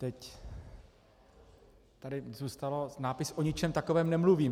Teď tady zůstal nápis: O ničem takovém nemluvím.